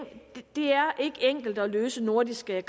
det er ikke enkelt at løse nordiske